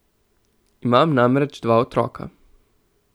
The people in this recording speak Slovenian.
Imam namreč dva otroka.